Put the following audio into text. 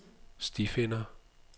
stifinder